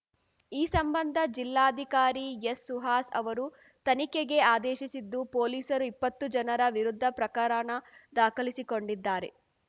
ಈ ಸಂಬಂಧ ಜಿಲ್ಲಾಧಿಕಾರಿ ಎಸ್‌ ಸುಹಾಸ್‌ ಅವರು ತನಿಖೆಗೆ ಆದೇಶಿಸಿದ್ದು ಪೊಲೀಸರು ಇಪ್ಪತ್ತು ಜನರ ವಿರುದ್ಧ ಪ್ರಕರಣ ದಾಖಲಿಸಿಕೊಂಡಿದ್ದಾರೆ